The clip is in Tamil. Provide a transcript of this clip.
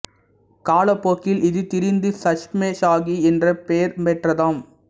காலப்போக்கில் இது திரிந்து சஷ்மே ஷாகி என்று பெயர் பெற்றதாம்